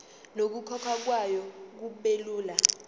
nokukhokhwa kwayo kubelula